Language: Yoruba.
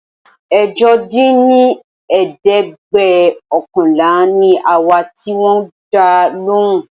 ẹ̀jọ dín ní ẹ̀ẹ́dẹ́gbẹ́ọ̀kànlá ni àwa tí wón dá lóhùn